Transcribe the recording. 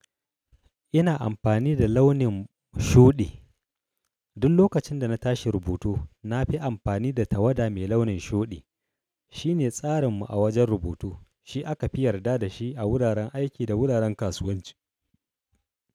Ina amfani da launin shuɗi. Dun lokacin da na tashi rubutu na fi amfani da tawada mai launin shuɗi. Shi ne tsarinmu a wajen rubutu. Shi aka fi yarda da shi a wuraren aiki da wuraren kasuwanci.